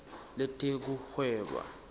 letekuhweba